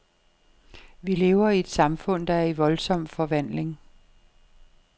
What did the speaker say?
Vi lever i et samfund, der er i voldsom forvandling.